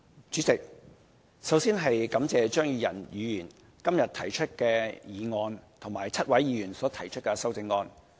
主席，首先，感謝張宇人議員今日提出的議案及7位議員所提出的修正案。